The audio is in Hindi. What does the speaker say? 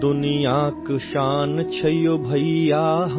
भारत दुनियाँ की शान है भैया